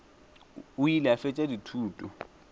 o ile a fetša dithuto